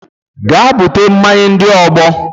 Gaa bute mmanya ndị ọgbọ!